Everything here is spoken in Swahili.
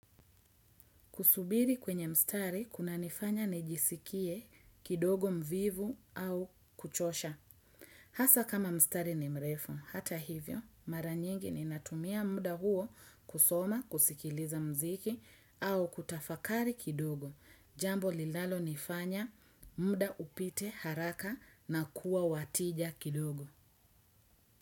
Kusubiri kwenye mstari, kuna nifanya nijisikie kidogo mvivu au kuchosha. Hasa kama mstari ni mrefu. Hata hivyo, mara nyingi ninatumia muda huo kusoma, kusikiliza mziki au kutafakari kidogo. Jambo linalonifanya muda upite haraka na kuwa wa tija kidogo.